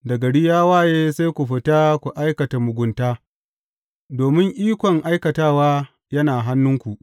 Da gari ya waye sai ku fita ku aikata mugunta domin ikon aikatawa yana hannunku.